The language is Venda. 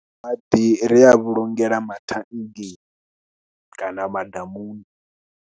Maḓi ri a vhulungela mathanngeni kana madamuni.